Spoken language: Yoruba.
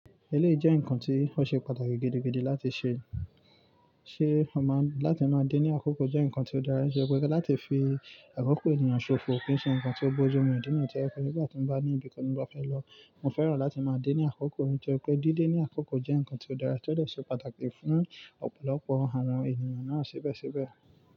Eleyii jẹ́ nǹkan tí ó ṣe pàtàkì gidi gidi láti ṣe, ṣe ọmọ láti máa dé ní àkókò jẹ́ nǹkan tí ó dára ṣe pé láti fi àkókò ènìyàn ṣòfò kì í ṣe nǹkan tí ó bójú mu. Ní ìdí náà tí ó fẹ́ pé bí mo bá ní ibi kan mo bá fẹ́ lọ, mo fẹ́ràn láti máa dé ní àkókò nítorí pé dídé ní àkókò jẹ́ nǹkan tí ó dára, tó dẹ̀ ṣe pàtàkì fún ọ̀pọ̀lọpọ̀ àwọn ènìyàn náà sépè sépè.